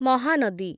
Mahanadi